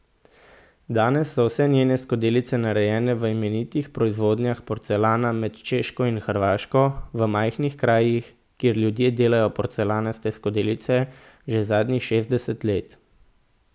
Danes so vse njene skodelice narejene v imenitnih proizvodnjah porcelana med Češko in Hrvaško, v majhnih krajih, kjer ljudje delajo porcelanaste skodelice že zadnjih šestdeset let.